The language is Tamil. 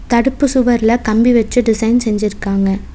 தடுப்பு சுவர்ல கம்பி வச்சு டிசைன் செஞ்சுருக்காங்க.